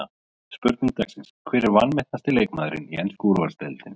Spurning dagsins: Hver er vanmetnasti leikmaðurinn í ensku úrvalsdeildinni?